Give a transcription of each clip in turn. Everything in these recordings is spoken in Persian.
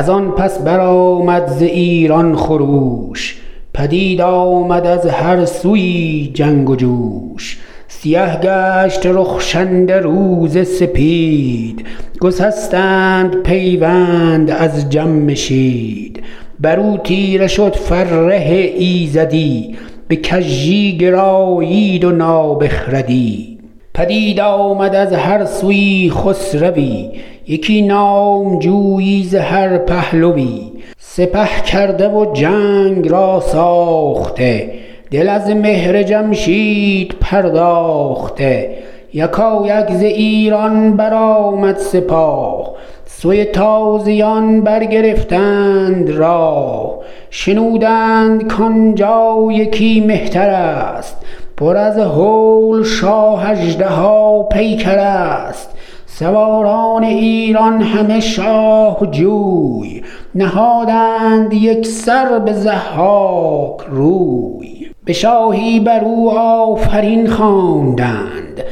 از آن پس برآمد ز ایران خروش پدید آمد از هر سویی جنگ و جوش سیه گشت رخشنده روز سپید گسستند پیوند از جمشید بر او تیره شد فره ایزدی به کژی گرایید و نابخردی پدید آمد از هر سویی خسروی یکی نامجویی ز هر پهلوی سپه کرده و جنگ را ساخته دل از مهر جمشید پرداخته یکایک ز ایران برآمد سپاه سوی تازیان برگرفتند راه شنودند کان جا یکی مهتر است پر از هول شاه اژدها پیکر است سواران ایران همه شاه جوی نهادند یک سر به ضحاک روی به شاهی بر او آفرین خواندند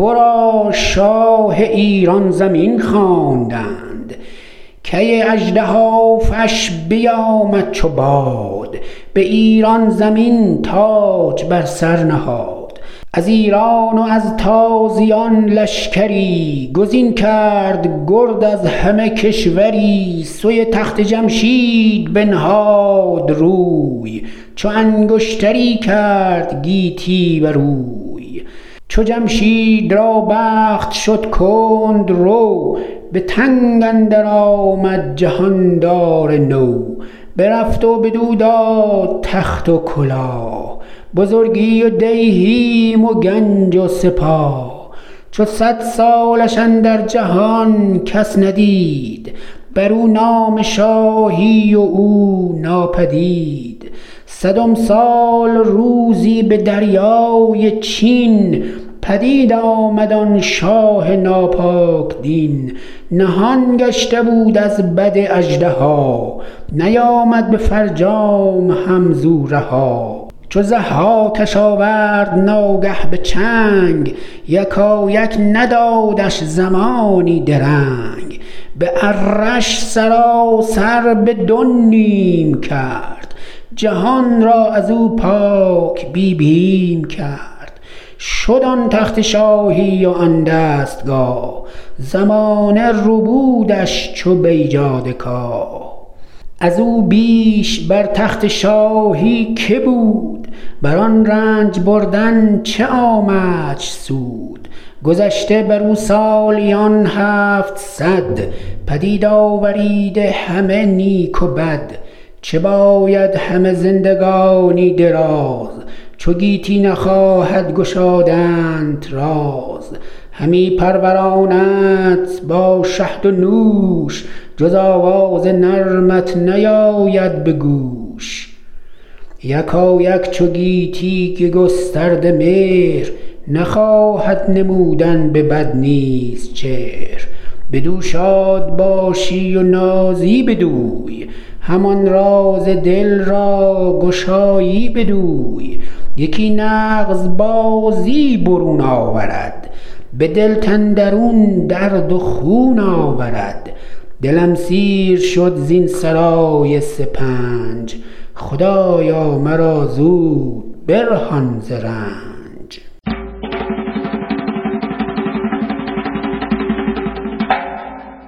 ورا شاه ایران زمین خواندند کی اژدهافش بیامد چو باد به ایران زمین تاج بر سر نهاد از ایران و از تازیان لشکری گزین کرد گرد از همه کشوری سوی تخت جمشید بنهاد روی چو انگشتری کرد گیتی بروی چو جمشید را بخت شد کندرو به تنگ اندر آمد جهاندار نو برفت و بدو داد تخت و کلاه بزرگی و دیهیم و گنج و سپاه چو صد سالش اندر جهان کس ندید بر او نام شاهی و او ناپدید صدم سال روزی به دریای چین پدید آمد آن شاه ناپاک دین نهان گشته بود از بد اژدها نیامد به فرجام هم ز او رها چو ضحاکش آورد ناگه به چنگ یکایک ندادش زمانی درنگ به اره ش سراسر به دو نیم کرد جهان را از او پاک بی بیم کرد شد آن تخت شاهی و آن دستگاه زمانه ربودش چو بیجاده کاه از او بیش بر تخت شاهی که بود بر آن رنج بردن چه آمدش سود گذشته بر او سالیان هفتصد پدید آوریده همه نیک و بد چه باید همه زندگانی دراز چو گیتی نخواهد گشادنت راز همی پروراندت با شهد و نوش جز آواز نرمت نیاید به گوش یکایک چو گویی که گسترد مهر نخواهد نمودن به بد نیز چهر بدو شاد باشی و نازی بدوی همان راز دل را گشایی بدوی یکی نغز بازی برون آورد به دلت اندرون درد و خون آورد دلم سیر شد زین سرای سپنج خدایا مرا زود برهان ز رنج